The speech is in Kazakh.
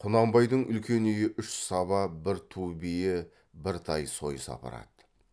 құнанбайдың үлкен үйі үш саба бір ту бие бір тай сойыс апарады